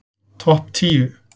Topp tíu